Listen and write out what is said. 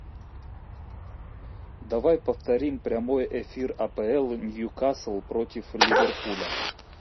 давай повторим прямой эфир апл ньюкасл против ливерпуля